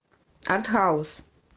артхаус